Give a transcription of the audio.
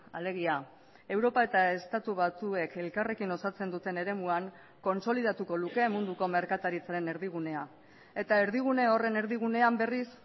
alegia europa eta estatu batuek elkarrekin osatzen duten eremuan kontsolidatuko luke munduko merkataritzaren erdigunea eta erdigune horren erdigunean berriz